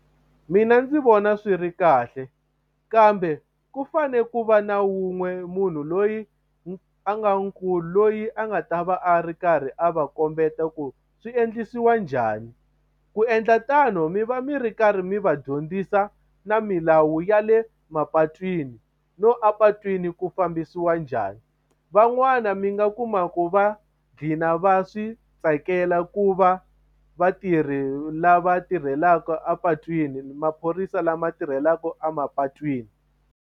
Mina ndzi vona swi ri kahle kambe ku fane ku va na wun'we munhu loyi a nga nkulu loyi a nga ta va a ri karhi a va kombeta ku swi endlisiwa njhani ku endla tano mi va mi ri karhi mi va dyondzisa na milawu ya le mapatwini no a patwini ku fambisiwa njhani van'wani mi nga kuma ku va gcina va swi tsakela ku va lava tirhelaka a patwini maphorisa lama tirhelaka emapatwini.